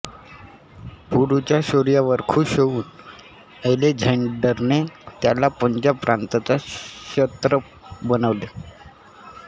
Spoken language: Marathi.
पुरूच्या शौर्यावर खूश होऊन अलेक्झांडरने त्याला पंजाब प्रांताचा क्षत्रप बनवले